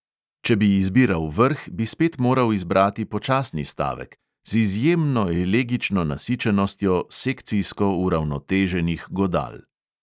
Če bi izbiral vrh, bi spet moral izbrati počasni stavek, z izjemno elegično nasičenostjo sekcijsko uravnoteženih godal.